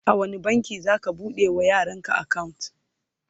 a wani banki zaka bude wa yaran ka akawunt?